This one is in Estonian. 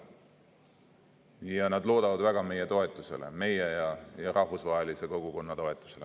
Ja nad loodavad väga meie toetusele, meie ja rahvusvahelise kogukonna toetusele.